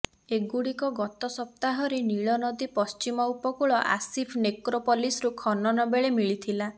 ଏଗୁଡିକ ଗତ ସପ୍ତାହରରେ ନୀଳନଦୀ ପଶ୍ଟିମ ଉପକୁଳ ଆସିଫ ନେକ୍ରୋପଲିସରୁ ଖନନ ବେଳେ ମିଳିଥିଲା